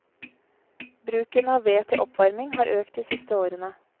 Bruken av ved til oppvarming har økt de siste årene.